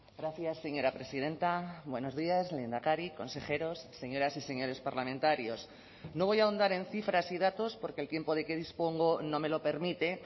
gracias señora presidenta buenos días lehendakari consejeros señoras y señores parlamentarios no voy a ahondar en cifras y datos porque el tiempo de que dispongo no me lo permite